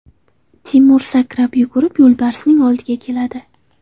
Timur sakrab yugurib yo‘lbarsning oldiga keladi.